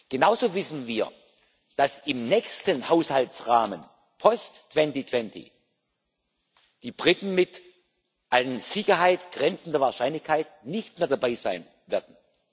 Genauso wissen wir, dass im nächsten Haushaltsrahmen post 2020 die Briten mit einer an Sicherheit grenzenden Wahrscheinlichkeit nicht mehr dabei sein werden.